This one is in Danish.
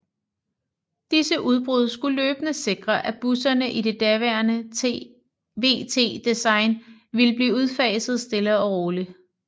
Disse udbud skulle løbende sikre at busserne i det daværende VT design ville blive udfaset stille og roligt